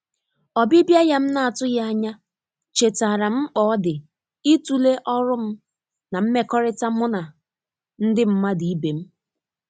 ọbibia ya m na atụghi anya, chetara m mkps ọdi itule ọrụ'm na mmekọrita mu nandi mmadu ibe m.